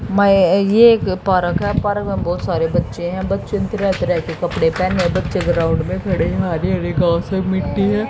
मैं ये एक पार्क है पार्क में बहुत सारे बच्चें हैं बच्चे तरह तरह के कपड़े पहने हैं बच्चे ग्राउंड में खड़े हैं हरे हरे घास हैं मिट्टी है।